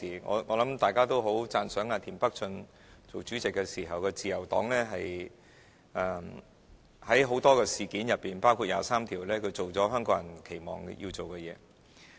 我相信大家都很讚賞田北俊擔任主席時的自由黨，在很多事件之中，包括第二十三條立法，他做了香港人期望他要做的事情。